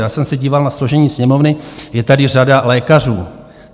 Já jsem se díval na složení Sněmovny, je tady řada lékařů.